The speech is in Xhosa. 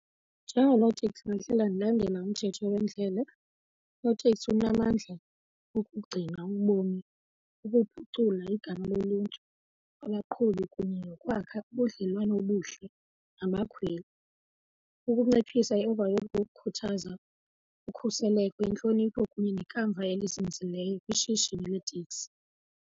Njengonoteksi bendihlala ndilandela umthetho wendlela. Unoteksi unamandla wokugcina ubomi, ukuphucula igama loluntu, abaqhubi kunye nokwakha ubudlelwane obuhle nabakhweli. Ukunciphisa i-overload yokukhuthaza ukhuseleko, intlonipho kunye nekamva elizinzileyo kwishishini leetekisi.